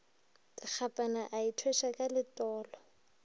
dikgapana a ithweša ka letolo